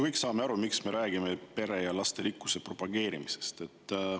Me kõik saame ju aru, miks me räägime pere ja lasterikkuse propageerimisest.